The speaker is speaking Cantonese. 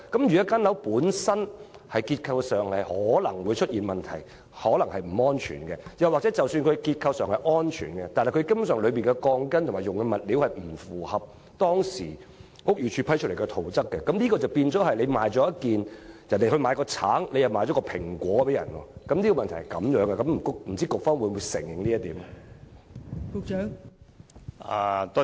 如果樓宇本身的結構可能出現問題及可能不安全，又或即使結構安全，但樓宇使用的鋼筋及物料根本不符合當時房屋署批出的圖則，即等於人家要買一個橙，你卻賣了一個蘋果給他，問題在此，不知道局方會否承認這一點？